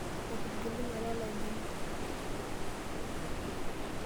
Etigilunye olalai lino.